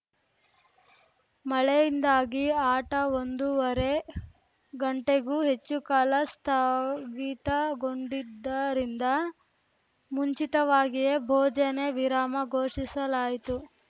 ಮಳೆಯಿಂದಾಗಿ ಆಟ ಒಂದೂವರೆ ಗಂಟೆಗೂ ಹೆಚ್ಚು ಕಾಲ ಸ್ಥಗಿತಗೊಂಡಿದ್ದರಿಂದ ಮುಂಚಿತವಾಗಿಯೇ ಭೋಜನ ವಿರಾಮ ಘೋಷಿಸಲಾಯಿತು